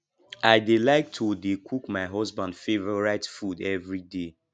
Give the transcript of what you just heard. i dey like to dey cook my husband favourite food everyday